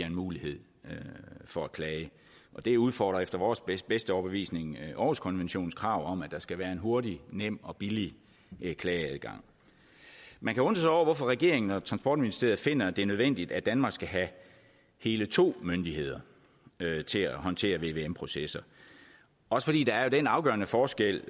en mulighed for at klage det udfordrer efter vores bedste bedste overbevisning århuskonventionens krav om at der skal være en hurtig nem og billig klageadgang man kan undre sig over hvorfor regeringen og transportministeriet finder at det er nødvendigt at danmark skal have hele to myndigheder til at håndtere vvm processer også fordi der jo er den afgørende forskel